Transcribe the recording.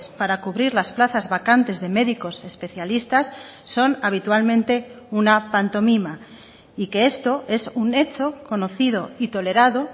para cubrir las plazas vacantes de médicos especialistas son habitualmente una pantomima y que esto es un hecho conocido y tolerado